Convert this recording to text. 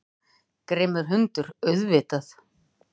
Grimmur hundur, auðvitað.